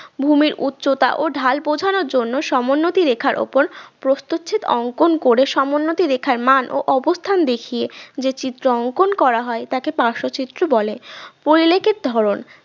ভূমির উচ্চতা ও ঢাল বোঝানোর জন্য সমোন্নতি রেখার উপর প্রস্থচ্ছেদ অঙ্কন করে সমোন্নতি রেখার মান ও অবস্থান দেখিয়ে যে চিত্র অঙ্কন করা হয় তাকে পার্শচিত্র বলে পরিলেখিত ধরন